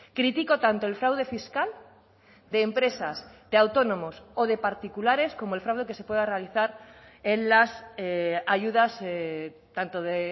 critico tanto el fraude fiscal de empresas de autónomos o de particulares como el fraude que se pueda realizar en las ayudas tanto de